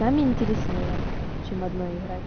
вами интереснее чем одной играть